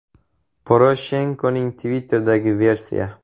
Poroshenkoning Twitter’idagi versiya.